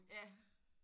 Ja